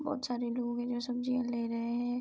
बहोत सारे लोग हैं जो सब्जियां ले रहे हैं।